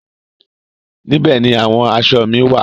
Níbẹ̀ ni àwọn aṣọ mi wá à.